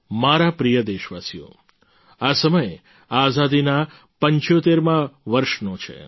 મારા પ્રિય દેશવાસીઓ આ સમય આઝાદીના 75માં વર્ષનો છે